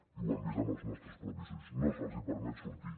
i ho hem vist amb els nostres propis ulls no se’ls permet sortir